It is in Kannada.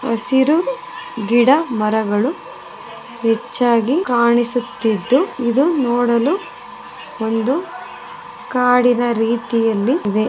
ಹಸಿರು ಗಿಡಮರಗಳು ಹೆಚ್ಚಾಗಿ ಕಾಣಿಸುತ್ತಿದ್ದು ಇದು ನೋಡಲು ಒಂದು ಕಾಡಿನ ರೀತಿಯಲ್ಲಿ ಇದೆ.